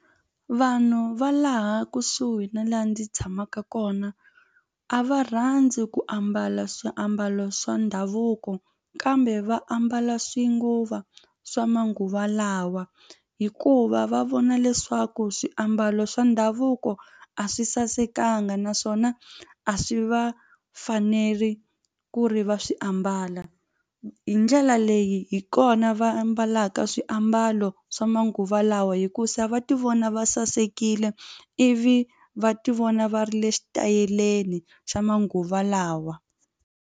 Vanhu va laha kusuhi na laha ndzi tshamaka kona a va rhandzi ku ambala swiambalo swa ndhavuko kambe va ambala swa manguva lawa hikuva va vona leswaku swiambalo swa ndhavuko a swi sasekanga naswona a swi va faneli ku ri va swi ambala hi ndlela leyi hi kona va ambalaka swiambalo swa manguva lawa hikusa va ti vona va sasekile ivi va ti vona va ri le xitayeleni xa manguva lawa.